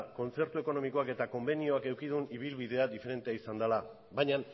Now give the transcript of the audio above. kontzertu ekonomikoak eta konbenioak eduki duten ibilbidea diferentea izan dela baina